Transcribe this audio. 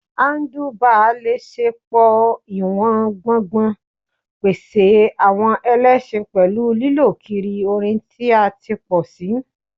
Handlebars le ṣe pọ-iwọn gbogbn, pese awọn ẹlẹṣin pẹlu lilọ kiri orin ti a ti pọ si